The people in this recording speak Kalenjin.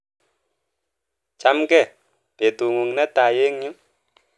Chamgee, betung'ung netai eng yu?